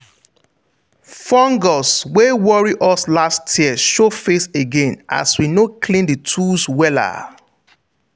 fungus wey worry us last year show face again as we no clean the tools wella.